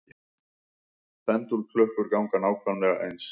Pendúlklukkur ganga nákvæmlega eins.